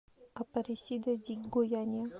апаресида ди гояния